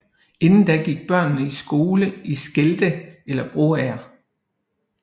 Indtil da gik børnene i skole i Skelde eller Broager